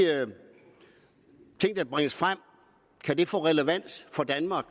ting der bringes frem kan få relevans for danmark